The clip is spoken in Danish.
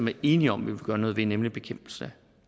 er enige om at ville gøre noget ved nemlig bekæmpelse